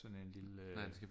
Sådan en lille øh